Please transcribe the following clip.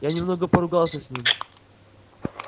я немного поругался с ним